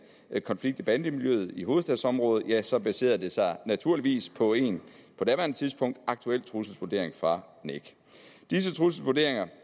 konflikt i bandemiljøet i hovedstadsområdet ja så baserede det sig naturligvis på en på daværende tidspunkt aktuel trusselsvurdering fra nec disse trusselsvurderinger